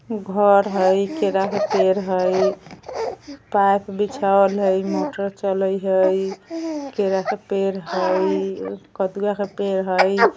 घर हई केला के पेड़ हई पाइप बिछावल हई मोटर चलई हई केला का पेड़ हई कदुआ का पेड़ हई।